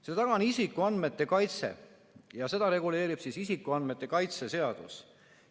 Selle taga on isikuandmete kaitse ja seda reguleerib isikuandmete kaitse seadus.